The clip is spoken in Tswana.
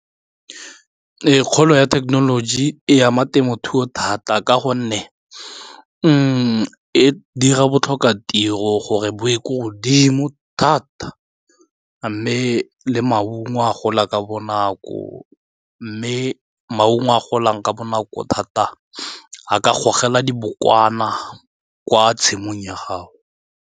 Kgolo ya thekenoloji e ama temothuo thata ka gonne e dira botlhoka tiro gore bo ye ko godimo thata mme le maungo a gola ka bonako mme maungo a golang ka bonako thata a ka gogela dibokwana kwa tshimong ya gago.